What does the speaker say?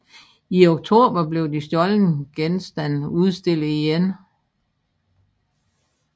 I oktober blev de stjålne genstande udstillet igen